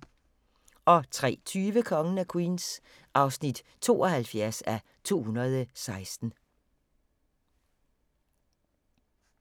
03:20: Kongen af Queens (72:216)